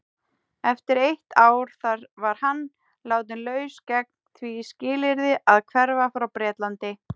Eftir eitt ár þar var hann látinn laus gegn því skilyrði að hverfa frá Bretlandi.